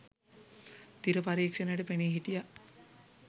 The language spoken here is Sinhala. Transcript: තිර පරීක්‍ෂණයට පෙනී හිටියා.